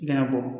I kana bɔ